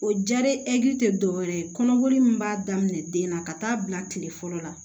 O ja re te dɔwɛrɛ ye kɔnɔboli min b'a daminɛ den na ka taa bila kile fɔlɔ la